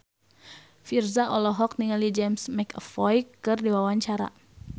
Virzha olohok ningali James McAvoy keur diwawancara